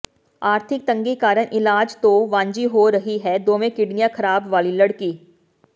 ਆਰਥਿਕ ਤੰਗੀ ਕਾਰਨ ਇਲਾਜ ਤੋਂ ਵਾਂਝੀ ਹੋ ਰਹੀ ਹੈ ਦੋਵੇਂ ਕਿਡਨੀਆਂ ਖਰਾਬ ਵਾਲੀ ਲੜਕੀ